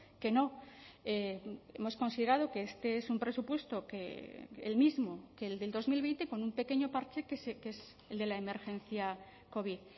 que no hemos considerado que este es un presupuesto que el mismo que el del dos mil veinte con un pequeño parche que es el de la emergencia covid